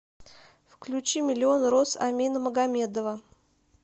включи миллион роз амина магомедова